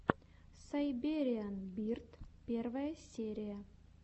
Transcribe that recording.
сайбериан бирд первая серия